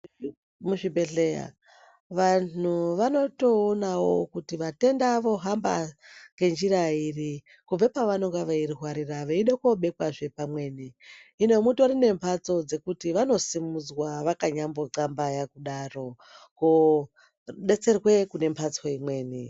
Kuzvibhehleya vanhu vanotoonawo kuti matenda ohamba ngenjirairi kubva pavanenge veirwarira veide kunobekwazve pamweni . Hino mutori nemphatso dzekuti vanosimudzwa vakanya hlambaya kudaro kodetserwe kune mphatso imweni